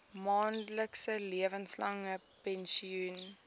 maandelikse lewenslange pensioen